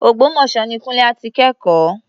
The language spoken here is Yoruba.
Ògbómọ̀ṣọ́ ni Kúńlé á ti kẹ́kọ̀ọ́.